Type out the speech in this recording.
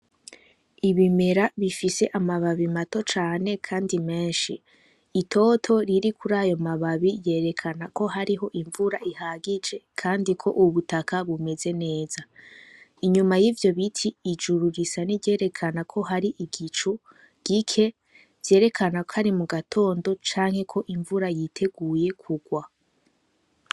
Ibimera bifise amababi mato cane, kandi menshi itoto riri kuri ayo mababi yerekana ko hariho imvura ihagije, kandi ko ubutaka bumeze neza inyuma y'ivyo biti ijuru risa ni ryerekana ko hari igicu gike vyerekana ko ari mu gatonda do canke ko imvura yiteguye kugwa.